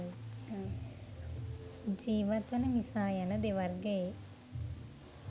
ජීවත් වන මිසා යන දෙවර්ගයේ